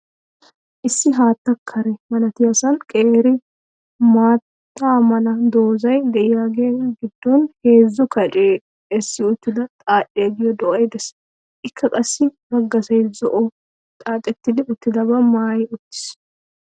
Issi haatta kare malatiyasan qeeri maata mala doozzay de'iyaagaa gidon heezzu kacciya esi uttida xadhdhiya giyo do'ay dees. Ikka qassi baggasay zo'o xaaxetti utabaa maayi uttiis.